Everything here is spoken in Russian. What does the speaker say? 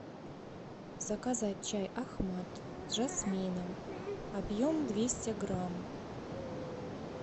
заказать чай ахмад с жасмином объем двести грамм